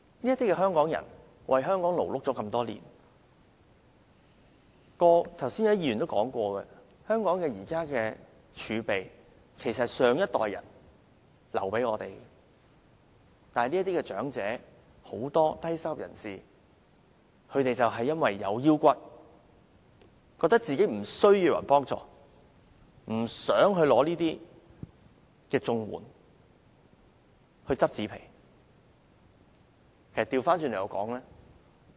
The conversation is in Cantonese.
"這些香港人為香港勞碌多年，剛才也有議員說過，香港現時的儲備其實是上一代人留給我們的，但是，很多長者和低收入人士因為有骨氣，覺得自己無須別人幫助，不想領取綜援而去撿紙皮為生。